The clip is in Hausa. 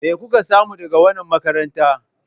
Me kuka samu daga wannan makaranta?